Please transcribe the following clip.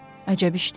Əcəb işdi.